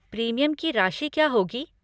Premium की राशि क्या होगी?